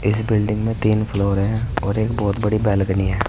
इस बिल्डिंग मे तीन फ्लोर है और एक बहुत बड़ी बालकनी है।